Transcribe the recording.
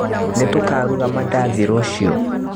Nĩtũkaruga mandathi rũciũ